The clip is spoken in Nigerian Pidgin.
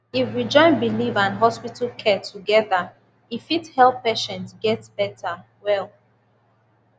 if we join belief and hospital care together e fit help patient get better well